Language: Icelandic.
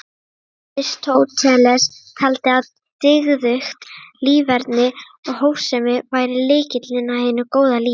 Aristóteles taldi að dygðugt líferni og hófsemi væri lykillinn að hinu góða lífi.